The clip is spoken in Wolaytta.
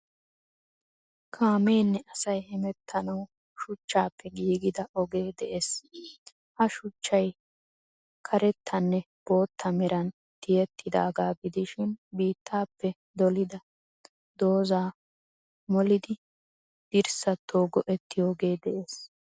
Kaameenne asaayi hemeettanawu shuchchappe gigida oge de'ees. Ha shuchchayi kareettanne bootta meraan tiyeettidaga gidishshin biittappe dolida dozaa mooliidi diirsaato go'ettidooge de'ees.